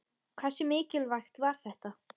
Hversu mikilvægt var þetta?